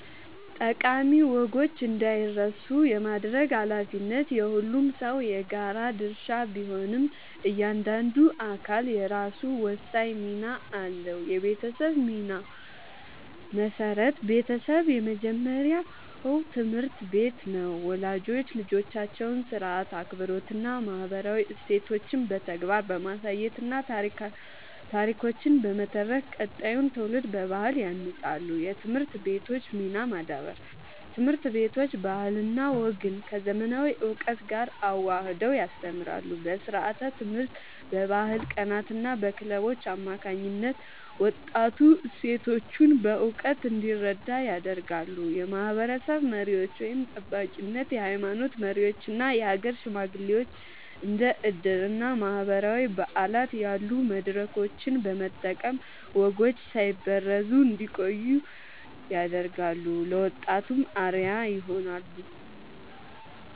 ጠቃሚ ወጎች እንዳይረሱ የማድረግ ኃላፊነት የሁሉም ሰው የጋራ ድርሻ ቢሆንም፣ እያንዳንዱ አካል የራሱ ወሳኝ ሚና አለው፦ የቤተሰብ ሚና (መሠረት)፦ ቤተሰብ የመጀመሪያው ትምህርት ቤት ነው። ወላጆች ልጆቻቸውን ሥርዓት፣ አክብሮትና ማህበራዊ እሴቶችን በተግባር በማሳየትና ታሪኮችን በመተረክ ቀጣዩን ትውልድ በባህል ያንጻሉ። የትምህርት ቤቶች ሚና (ማዳበር)፦ ትምህርት ቤቶች ባህልና ወግን ከዘመናዊ እውቀት ጋር አዋህደው ያስተምራሉ። በስርዓተ-ትምህርት፣ በባህል ቀናትና በክለቦች አማካኝነት ወጣቱ እሴቶቹን በእውቀት እንዲረዳ ያደርጋሉ። የማህበረሰብ መሪዎች (ጠባቂነት)፦ የሃይማኖት መሪዎችና የሀገር ሽማግሌዎች እንደ ዕድርና ማህበራዊ በዓላት ያሉ መድረኮችን በመጠቀም ወጎች ሳይበረዙ እንዲቆዩ ያደርጋሉ፤ ለወጣቱም አርአያ ይሆናሉ።